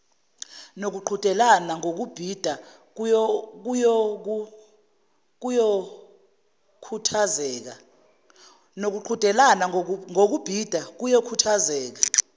nokuqhudelana ngokubhida kuyokhuthazeka